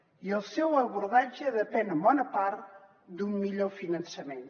i el seu abordatge depèn en bona part d’un millor finançament